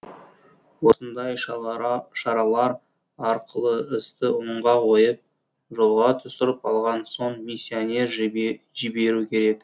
осындай шаралар арқылы істі оңға қойып жолға түсіріп алған соң миссионер жіберу керек